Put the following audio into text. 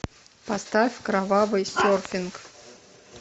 поставь кровавый серфинг